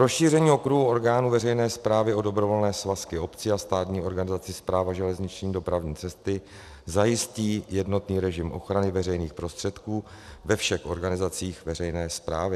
Rozšíření okruhu orgánů veřejné správy o dobrovolné svazky obcí a státní organizaci Správa železniční dopravní cesty zajistí jednotný režim ochrany veřejných prostředků ve všech organizacích veřejné správy.